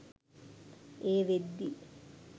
ඒ වෙද්දි